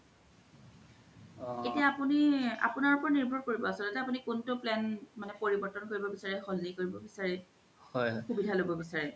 এতিয়া আপুনি আপুনাৰ ওপৰত নিৰ্ভৰ কৰিব আছ্ল্তে আপুনি কুন্তু plan পৰিবৰ্তন কৰিব বিচাৰিছে সলনি কৰিব বিচাৰে সূবিধা ল'ব বিচাৰে